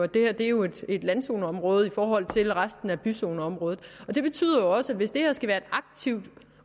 det her jo er et landzoneområde i forhold til resten af byzoneområdet det betyder jo også at hvis det her skal have et aktivt